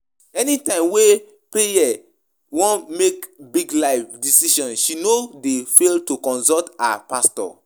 Anytime wey Preye wan make big life decision, she no dey fail to consult her pastor